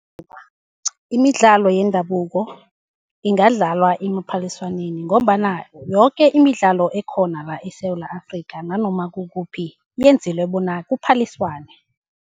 Imidlalo yendabuko ingadlalwa emaphaliswaneni, ngombana yoke imidlalo ekhona la eSewula Afrika, nanoma kukuphi yenzelwe bona kuphaliswane.